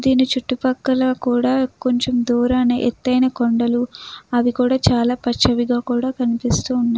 దీని చుట్టుపక్కల కూడా కొంచెం దూరాన ఎత్తైన కొండలు అలాగే అవి పచవిగా కనిపిస్తున్నాయి.